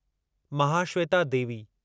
Mahasweta Devi